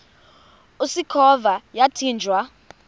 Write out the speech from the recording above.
usikhova yathinjw a